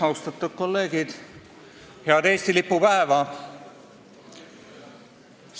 Austatud kolleegid, head Eesti lipu päeva!